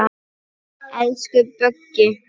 Elsku Böggi.